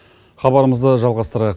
хабарымызды жалғастырайық